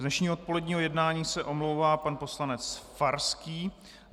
Z dnešního odpoledního jednání se omlouvá pan poslanec Farský.